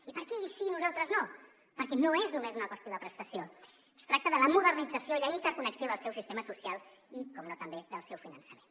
i per què ells sí i nosaltres no perquè no és només una qüestió de prestació es tracta de la modernització i la interconnexió del seu sistema social i per descomptat també del seu finançament